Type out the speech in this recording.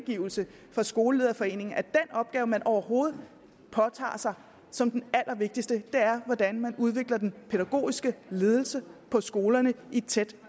af skolelederforeningen at den opgave man overhovedet påtager sig som den allervigtigste er hvordan man udvikler den pædagogiske ledelse på skolerne i tæt